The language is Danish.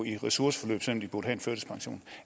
i ressourceforløb selv om de burde